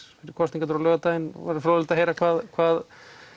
fyrir kosningarnar á laugardaginn verður fróðlegt að heyra hvað hvað